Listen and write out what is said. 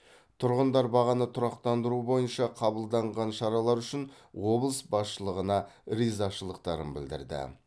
тұрғындар бағаны тұрақтандыру бойынша қабылданған шаралар үшін облыс басшылығына ризашылықтарын білдірді